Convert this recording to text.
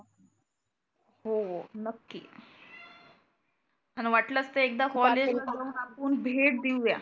हो नक्की आन वाटलच तर एकदा कॉलेज ला जाऊन आपुन भेट देऊया.